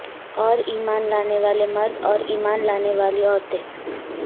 اور ایمان لانے والے مرد اور ایمان لانے والی عورتیں